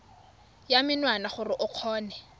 ya menwana gore o kgone